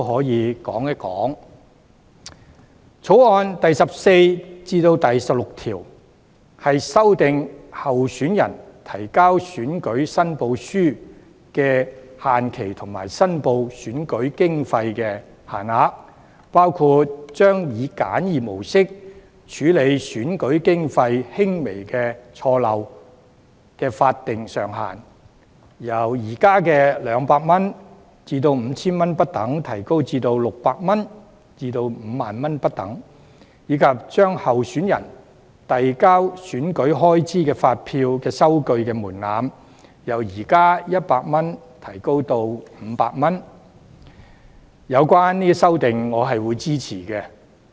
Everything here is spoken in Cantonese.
另一方面，《條例草案》第14至16條修訂候選人提交選舉申報書的限期及申報選舉經費的限額，包括把以簡易模式處理選舉經費輕微錯漏的法定上限，由現時的200元至 5,000 元不等，提高至600元至 50,000 元不等，以及把候選人遞交選舉開支發票和收據的門檻，由現時的100元提高至500元，我會支持有關的修訂。